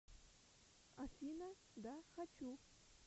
афина да хочу